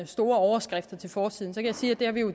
store overskrifter til forsiden kan jeg sige at vi jo